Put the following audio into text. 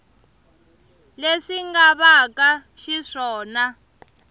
leswi nga va ka xiswona